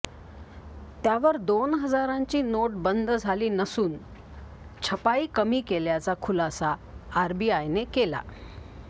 त्यावर दोन हजारांची नोट बंद झाली नसून छपाई कमी केल्याचा खुलासा आरबीआयने केला